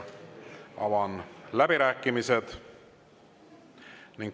Avan läbirääkimised.